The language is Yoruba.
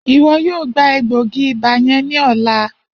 Iwọ yoo gba egboogi-iba yẹn ni ọla.